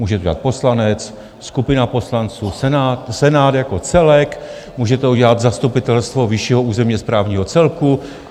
Může to udělat poslanec, skupina poslanců, Senát jako celek, může to udělat zastupitelstvo vyššího územního správního celku.